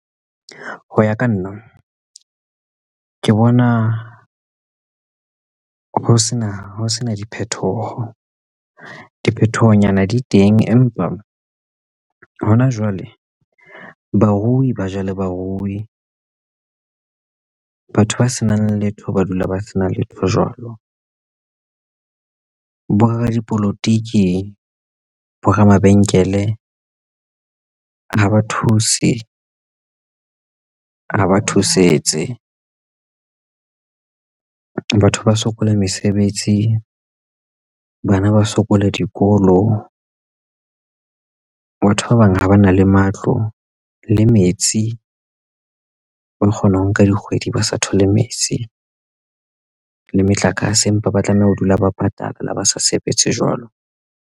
Ho ya ka nna ke bona ho sena diphethoho. Diphethohonyana di teng, empa hona jwale barui ba jale barui batho ba senang letho ba dula ba sena letho jwalo. Bo radipolotiki bo ramabenkele ha ba thuse ho ba thusetse. Batho ba sokola mesebetsi bana ba sokola dikolo batho ba bang ha ba na le matlo le metsi ba kgona ho nka dikgwedi ba sa thole metsi le motlakase empa ba tlameha ho dula ba patala na ba sa sebetse jwalo.